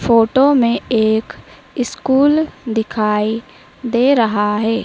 Photo में एक school दिखाई दे रहा है।